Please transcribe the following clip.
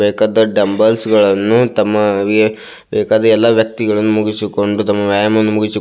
ಬೇಕಾದ ಡಂಬಲ್ಸ್ ಗಳನ್ನೂ ತಮ್ಮ ಬೇಕಾದ ಎಲ್ಲ ವ್ಯಕ್ತಿಗಳನ್ನು ಮುಗಿಸಿಕೊಂಡು ತಮ್ಮ ವ್ಯಾಯಾಮವನ್ನು ಮುಗಿಸಿಕೊಂಡು--